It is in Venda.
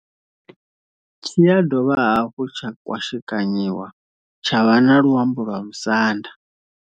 Tshi ya dovha hafhu tsha kwashekanyiwa tsha vha na luambo lwa Musanda.